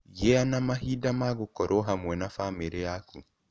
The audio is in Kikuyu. Gĩa na mahinda ma gũkorũo hamwe na famĩrĩ yaku.